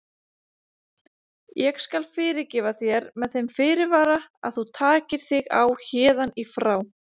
Ég skal fyrirgefa þér með þeim fyrirvara að þú takir þig á héðan í frá.